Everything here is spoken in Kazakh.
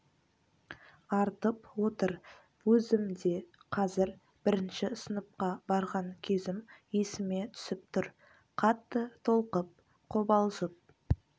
артып отыр өзім де қазір бірінші сыныпқа барған кезім есіме түсіп тұр қатты толқып қобалжып